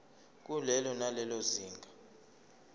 kulelo nalelo zinga